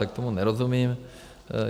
Tak tomu nerozumím.